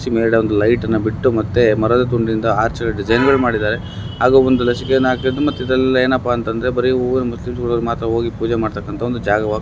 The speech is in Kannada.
ಮೇಲೆ ಒಂದು ಲೈಟ್ನ ಬಿಟ್ಟು ಮತ್ತೆ ಮರದ ತುಂಡಿದ್ದ ಆರ್ಚ್ ಡಿಸೈನ್ ಗಳನ್ನು ಮಾಡಿದ್ದಾರೆ ಹಾಗು ಒಂದು ಮತ್ತೆ ಇದ್ರಲ್ಲಿ ಏನಪ್ಪಾ ಅಂತ ಅಂದ್ರೆ ಬರಿ ಮುಸ್ಲಿಮ್ಸ್ಗಳು ಮಾತ್ರ ಹೋಗಿ ಪೂಜೆ ಮಾಡ್ತಕ್ಕಂತಹ ಒಂದು ಜಾಗವಾಗಿ --